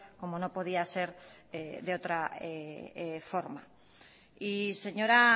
como no podía ser de otra forma y señora